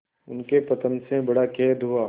उनके पतन से बड़ा खेद हुआ